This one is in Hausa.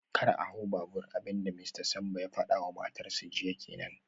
Kar a hau babur, abin da Mista Sambo ya fada wa matarsa ​​jiya kenan